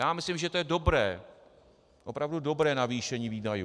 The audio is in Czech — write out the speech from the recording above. Já myslím, že to je dobré, opravdu dobré navýšení výdajů.